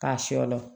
K'a sɔlo